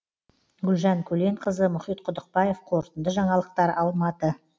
гүлжан көленқызы мұхит құдықбаев қорытынды жаңалықтар алматы